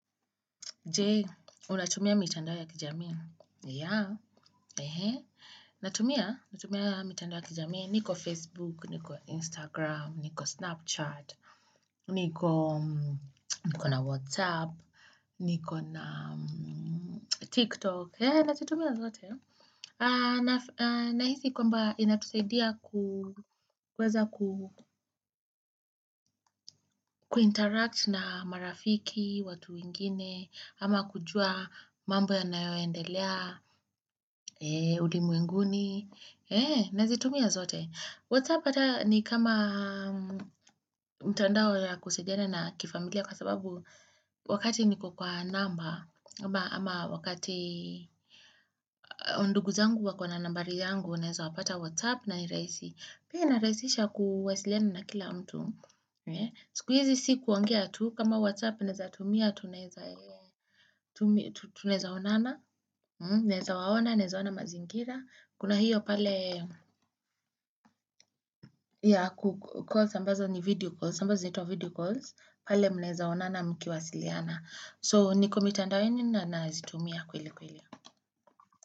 Jee, unatumia mitandao ya kijamii? Yeah, ehe, natumia, natumia mitandao ya kijamii, niko Facebook, niko Instagram, niko Snapchat, niko, niko na WhatsApp, niko na TikTok. Eeh nazitumia zote Nahisi kwamba inatusaidia kuweza kuinteract na marafiki, watu wengine, ama kujua mambo yanayo endelea, ulimwenguni, nazitumia zote. WhatsApp hata ni kama mtandao ya kusaidiana na kifamilia kwa sababu wakati niko kwa namba ama wakati ndugu zangu wako na nambari yangu naeza wapata WhatsApp na ni rahisi. Pia inaraisisha kuwasiliana na kila mtu Sikuizi si kuongea tu kama WhatsApp naeza tumia tunaeza Tunaeza onana Naeza waona, naezaona mazingira Kuna hiyo pale ya kukua Sambazo ni video calls Sambazo zinaitwa video calls pale mnaweza onana mkiwasiliana So niko mitandaonina nazitumia kweli kweli.